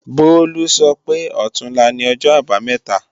Bólú sọ pé ọ̀túnla ni O̩jọ́-Àbamé̩ta